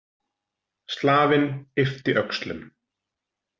Slavinn yppti öxlum.